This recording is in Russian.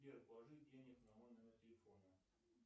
сбер положи денег на мой номер телефона